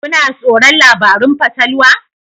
Kuna tsoron labarun fatalwa?